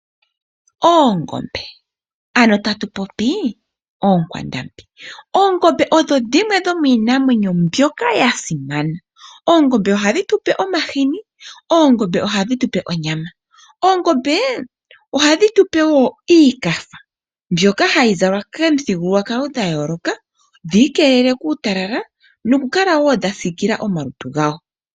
Oongombe ano tatu popi oonkwandambi. Oongombe odho dhimwe dhomiinamweyo mbyoka ya simana . Oongombe ohadhi tu pe omahini. Ohadhi tu pe wo onyama niikafa mbyoka hayi zalwa komithigululwakalo dha yooloka, dhi keelele kuutalala nokukala wo dha sikile omalutu dhago.